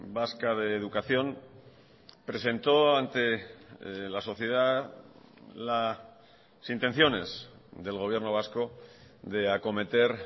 vasca de educación presentó ante la sociedad las intenciones del gobierno vasco de acometer